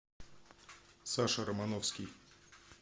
саша романовский